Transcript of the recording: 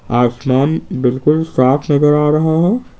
आसमान बिल्कुल साफ नजर आ रहा है।